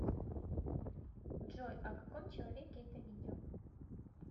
джой о каком человеке это видео